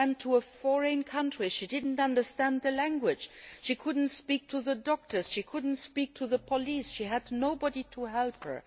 She went to a foreign country, she did not understand the language, she could not speak to the doctors, she could not speak to the police, she had nobody to help her.